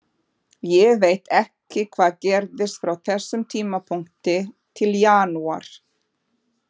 Ég veit ekki hvað gerist frá þessum tímapunkti til janúar.